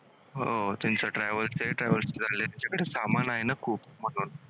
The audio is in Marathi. हो त्यांचा travels आहे. travels ने चाललेत त्यांच्याकडे सामान आहे ना खूप म्हणून